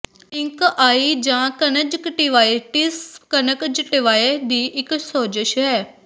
pink eye ਜਾਂ conjunctivitis conjunctiva ਦੀ ਇੱਕ ਸੋਜ਼ਸ਼ ਹੈ